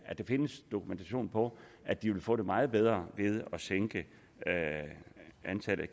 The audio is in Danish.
der findes dokumentation for at de vil få det meget bedre ved at man sænker antallet af